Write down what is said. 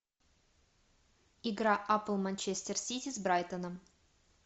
игра апл манчестер сити с брайтоном